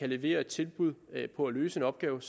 levere et tilbud på at løse en opgave